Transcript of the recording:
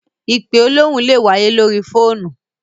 Ìpe olóhùn lè wáyé lóri fóònù.